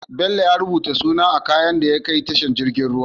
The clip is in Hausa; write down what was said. Bello ya rubuta suna a kayan da ya kai tashar jirgin ruwa